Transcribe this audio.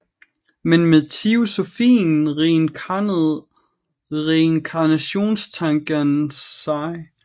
Men med teosofien reinkarnerede reinkarnationstankens sig